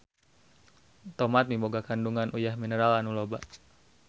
Tomat miboga kandungan uyah mineral anu loba.